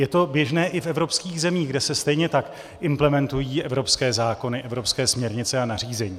Je to běžné i v evropských zemích, kde se stejně tak implementují evropské zákony, evropské směrnice a nařízení.